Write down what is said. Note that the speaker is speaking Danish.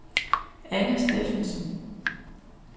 Anne Steffensen